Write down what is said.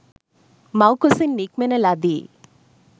මව්කුසින් නික්මෙන ලදී.